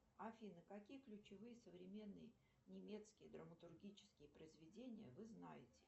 афина какие ключевые современные немецкие драматургические произведения вы знаете